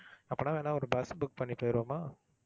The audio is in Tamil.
அப்பன்னா வேணும்னா ஒரு bus book பண்ணி போயிருவோமா?